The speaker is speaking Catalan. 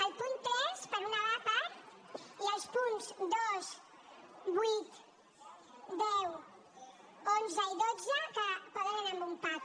el punt tres per una part i els punts dos vuit deu onze i dotze que poden anar en un pack